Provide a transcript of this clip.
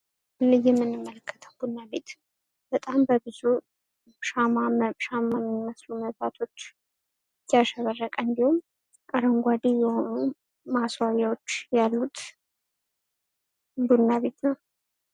ይህ የምንመለከተው ቡና ቤት በጣም በብዙ ሻማ ሻማ በሚመስሉ መብራቶች ያሸበረቀ እንዲሁም አረንጓዴ የሆኑ ማስዋቢያዎች ያሉት ቡና ቤት ነው።